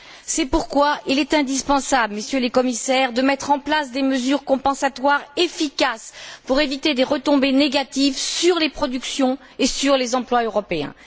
C'est pourquoi il est indispensable, Messieurs les Commissaires, de mettre en place des mesures compensatoires efficaces pour éviter des retombées négatives sur les productions et sur les emplois européens.